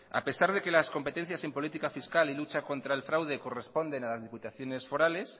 a pesar de que las competencias en política fiscal y lucha contra el fraude corresponden a las diputaciones forales